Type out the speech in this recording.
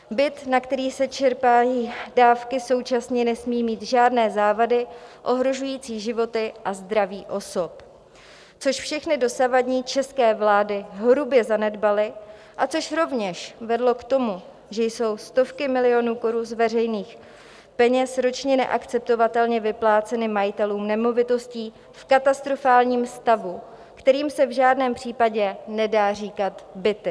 Byt, na který se čerpají dávky, současně nesmí mít žádné závady ohrožující životy a zdraví osob, což všechny dosavadní české vlády hrubě zanedbaly a což rovněž vedlo k tomu, že jsou stovky milionů korun z veřejných peněz ročně neakceptovatelně vypláceny majitelům nemovitostí v katastrofálním stavu, kterým se v žádném případě nedá říkat byty.